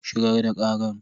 Shigar da karar.